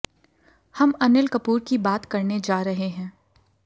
हम अनिल कपूर की बात करने जा रहे है